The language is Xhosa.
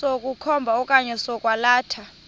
sokukhomba okanye sokwalatha